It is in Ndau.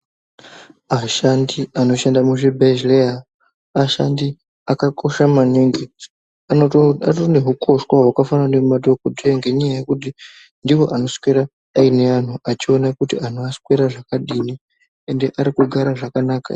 Ashandi anoshanda muzvibhedhleya ashandi akakosha maningi atorine hukoshwa hwakafanana ngemadhogodheya. Ngenyaya yekuti ndivo anoswera aine antu achiona kuti antu aswera zvakadino ende ari kugara zvakanaka ere.